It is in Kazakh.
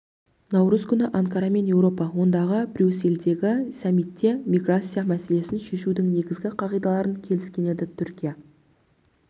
наурыз күні анкара мен еуропа одағы брюссельдегі саммитте миграция мәселесін шешудің негізгі қағидаларын келіскен еді түркия